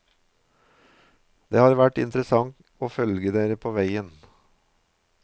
Det har vært interessant og følge dere på veien.